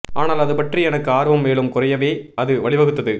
ஆனால் அது பற்றி எனக்கு ஆர்வம் மேலும் குறையவே அது வழிவகுத்தது